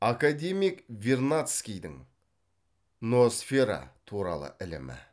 академик вернадскийдің ноосфера туралы ілімі